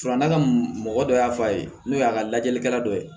Farafinna mɔgɔ dɔ y'a fɔ a ye n'o y'a ka lajɛlikɛla dɔ ye